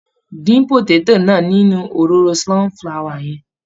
Dín pòtétò náà nínú òróró sunflower yẹn.